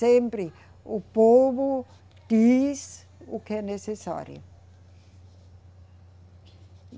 Sempre o povo diz o que é necessário.